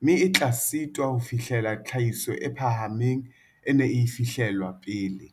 mme e tla sitwa ho fihlella tlhahiso e phahameng e neng e fihlellwa pele.